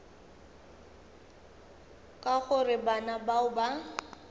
ka gore bana bao ba